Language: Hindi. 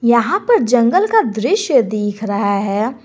यहां पर जंगल का दृश्य दिख रहा है।